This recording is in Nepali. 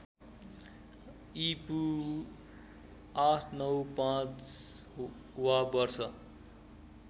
ईपू ८९५ वा वर्ष